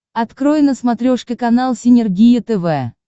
открой на смотрешке канал синергия тв